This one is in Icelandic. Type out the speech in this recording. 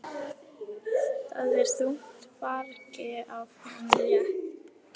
Það er þungu fargi af honum létt.